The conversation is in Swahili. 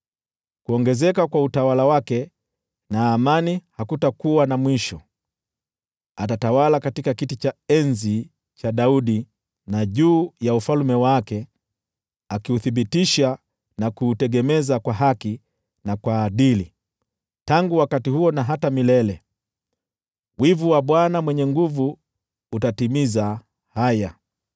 Kuongezeka kwa utawala wake na amani hakutakuwa na mwisho. Atatawala katika kiti cha enzi cha Daudi na juu ya ufalme wake, akiuthibitisha na kuutegemeza kwa haki na kwa adili, tangu wakati huo na hata milele. Wivu wa Bwana Mwenye Nguvu Zote utatimiza haya.